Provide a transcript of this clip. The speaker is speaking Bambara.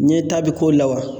Ɲɛ ta bi k'o la wa?